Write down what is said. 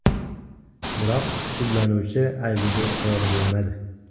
Biroq, sudlanuvchi aybiga iqror bo‘lmadi.